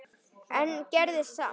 en gerðist samt.